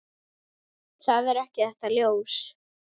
Það er ekki þetta ljós.